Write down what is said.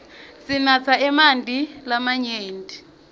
sinatse emanti lamanyenti